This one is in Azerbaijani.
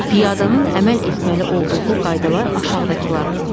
Piyadanın əməl etməli olduğu qaydalar aşağıdakılardır: